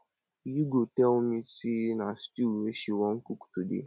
ugo tell me say na stew wey she wan cook today